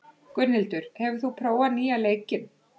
Gunnhildur, hefur þú prófað nýja leikinn?